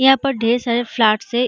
यहाँ पर ढेर सारे फ्लैट्स है।